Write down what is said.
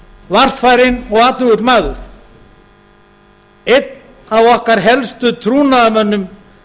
varfærinn og athugull maður einn af okkar helstu trúnaðarmönnum